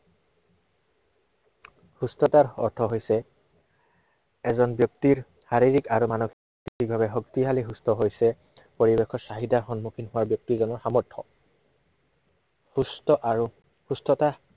সুস্থতাৰ অৰ্থ হৈছে এজন ব্য়ক্তিৰ শাৰীৰিক আৰু মানসিক শক্তিশালী সুস্থ হৈছে পৰিৱেশৰ চাহিদাৰ সন্মুখীন হোৱা ব্য়ক্তিজনৰ সামৰ্থ্য় সুস্থ আৰু সুস্থতা